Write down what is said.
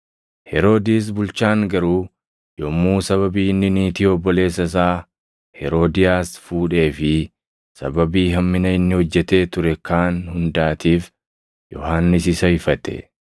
Heroodis bulchaan garuu yommuu sababii inni niitii obboleessa isaa Heroodiyaas fuudhee fi sababii hammina inni hojjetee ture kaan hundaatiif Yohannis isa ifate,